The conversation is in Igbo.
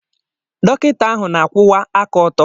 Dọkịta ahu na-akwụwa aka ọtọ.